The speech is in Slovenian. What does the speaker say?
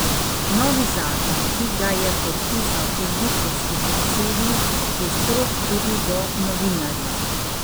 Novi zakon, ki ga je podpisal egiptovski predsednik, je strog tudi do novinarjev.